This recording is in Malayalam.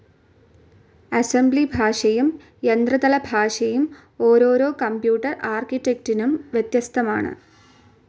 അസംബ്ലി ഭാഷയും യന്ത്ര തല ഭാഷയും ഓരോരോ കമ്പ്യൂട്ടർ ആർക്കിറ്റെക്റ്റ്ഇന്നും വ്യത്യസ്തമാണ്.